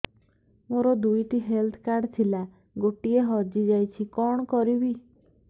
ମୋର ଦୁଇଟି health card ଥିଲା ଗୋଟିଏ ହଜି ଯାଇଛି କଣ କରିବି